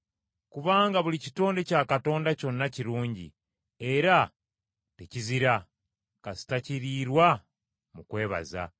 Kubanga buli kitonde kya Katonda kyonna kirungi, era tekizira, kasita kiriirwa mu kwebaza,